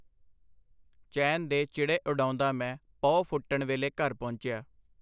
ਚੈਨ ਦੇ ਚਿੜੇ ਉਡਾਉਂਦਾ ਮੈਂ ਪਹੁ ਫੁਟਣ ਵੇਲੇ ਘਰ ਪਹੁੰਚਿਆ.